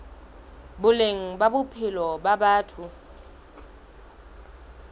boleng ba bophelo ba batho